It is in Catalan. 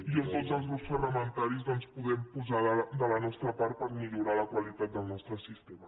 i on tots els grups parlamentaris doncs hi podem posar de la nostra part per millorar la qualitat del nostre sistema